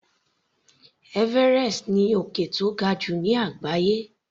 Everest ni òkè tó ga jù ní àgbáyé.